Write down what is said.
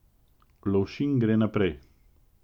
Lovšin gre naprej.